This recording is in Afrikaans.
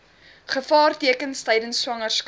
gevaartekens tydens swangerskap